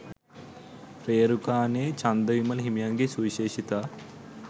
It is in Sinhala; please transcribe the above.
රේරුකානේ චන්දවිමල හිමියන්ගේ සුවිශේෂිතා